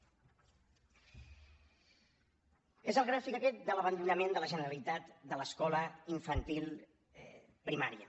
és el gràfic aquest de l’abandonament de la generalitat de l’escola infantil primària